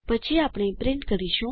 પછી આપણે પ્રિન્ટ કરીશું